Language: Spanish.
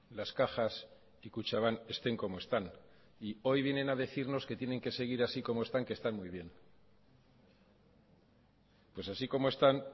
las cajas y kutxabank estén como están y hoy vienen a decirnos que tienen que seguir así como están que están muy bien pues así como están